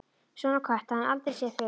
Svona kött hafði hann aldrei séð fyrr.